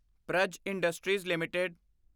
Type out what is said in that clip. Praj industries LTD